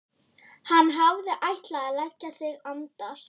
Hann hafði ætlað að leggja sig andar